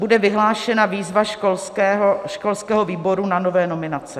Bude vyhlášena výzva školského výboru na nové nominace.